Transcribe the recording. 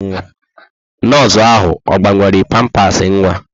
Nọọsụ ahụ ọ gbanwere pampasị nwa?